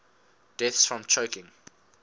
deaths from choking